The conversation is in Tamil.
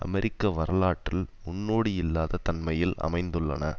அமெரிக்க வரலாற்றில் முன்னோடி இல்லாத தன்மையில் அமைந்துள்ளன